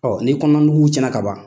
n'i kɔnɔna nugu tiɲɛna ka ban